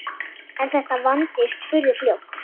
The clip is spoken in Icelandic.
En þetta vandist furðu fljótt.